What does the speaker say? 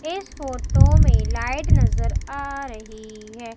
इस फोटो में लाइट नजर आ रही है।